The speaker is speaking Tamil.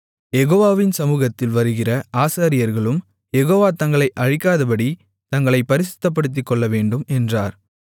யெகோவாவின் சமுகத்தில் வருகிற ஆசாரியர்களும் யெகோவா தங்களை அழிக்காதபடி தங்களைப் பரிசுத்தப்படுத்திக்கொள்ளவேண்டும் என்றார்